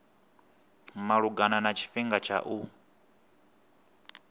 malugana na tshifhinga tsha u